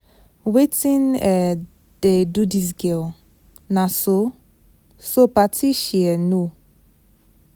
Wetin um dey do dis girl, na so so party she um know.